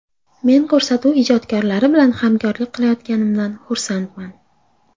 Men ko‘rsatuv ijodkorlari bilan hamkorlik qilayotganimdan xursandman.